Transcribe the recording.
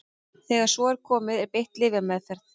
þegar svo er komið er beitt lyfjameðferð